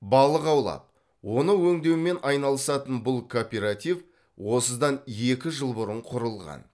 балық аулап оны өңдеумен айналысатын бұл кооператив осыдан екі жыл бұрын құрылған